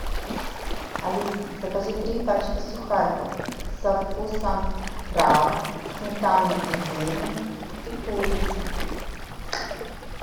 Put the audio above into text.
алиса закажи три пачки сухариков со вкусом краба сметаны и зелени и курицы